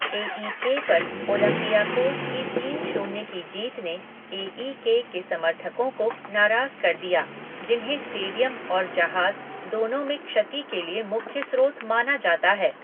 ए E K पर Olympiacos की तीन शून्य की जीत ने ए ई के के समर्थकों को नाराज़ कर दिया, जिन्हें स्टेडियम और जहाज़ दोनों में क्षति के लिए मुख्य स्रोत माना जाता है।